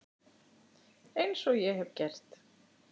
Eins og ég hef gert.